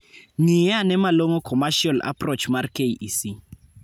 Ng'iiane malong'o commecial approach mar KEC